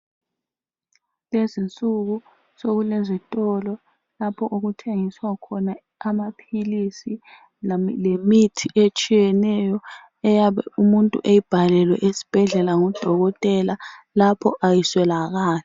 Lezinsuku sokulezitolo lapho okuthengiswa khona amaphilisi lemithi etshiyeneyo eyabe umuntu eyibhalelwe esibhedlela ngudokotela lapho ayiswelakali.